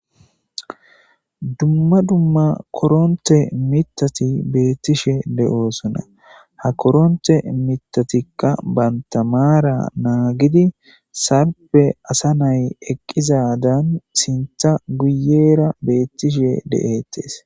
Dumma dumma korrontte miiththati bettishe deosona ha korontte miththatika bantta maara nagidi salipe asa na'ay eqqizadan sinththa guyera bettishe de7etes.